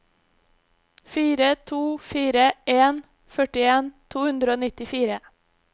fire to fire en førtien to hundre og nittifire